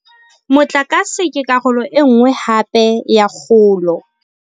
Motlakase ke karolo e nngwe hape ya kgolo.